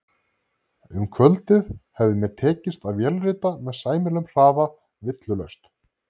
Um kvöldið hafði mér tekist að vélrita með sæmilegum hraða villulaust